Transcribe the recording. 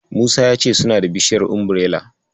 Musa ya ce suna da bishiyar Umbirela.